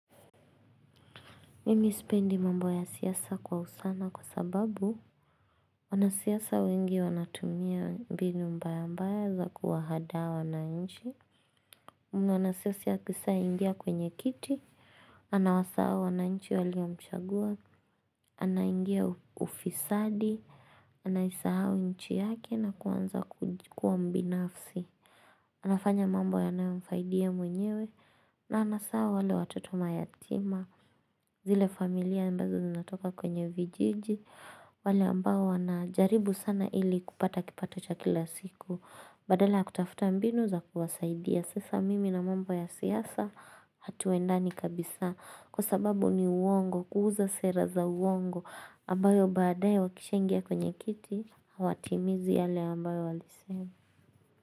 Mimi sipendi mambo ya siasa kwa upana kwa sababu Wanasiasa wengi wanatumia mbinu mbaya mbaya za kuwahadaa wananchi Mwanasiasa akishaingia kwenye kiti Anawasahau wananchi waliomchagua Anaingia ufisadi Anaisahau nchi yake na kuanza kuwa mbinafsi anafanya mambo yanayomfaidi yeye mwenyewe na anasahau wale watoto mayatima zile familia ambazo zinatoka kwenye vijiji wale ambao wanajaribu sana ili kupata kipato cha kila siku badala ya kutafuta mbinu za kuwasaidia sasa mimi na mambo ya siasa hatuendani kabisa kwa sababu ni uongo kuuza sera za uongo ambayo baadaye wakishaingia kwenye kiti hawatimizi yale ambayo walisema.